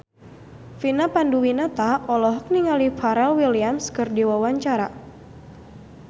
Vina Panduwinata olohok ningali Pharrell Williams keur diwawancara